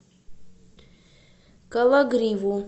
кологриву